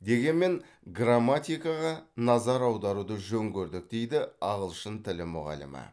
дегенмен грамматикаға назар аударуды жөн көрдік дейді ағылшын тілі мұғалімі